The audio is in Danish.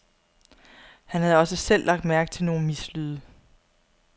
Han havde også selv lagt mærke til nogle mislyde.